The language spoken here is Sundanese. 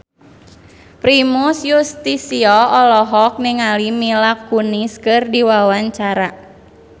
Primus Yustisio olohok ningali Mila Kunis keur diwawancara